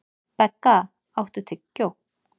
Begga, áttu tyggjó?